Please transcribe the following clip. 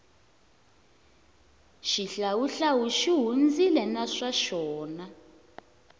xihlawuhlawu xi hundzile na swa xona